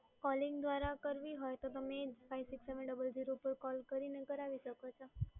calling દ્વારા કરવી હોય તો તમે five six seven double zero પર કૉલ કરીને કરાવી શકો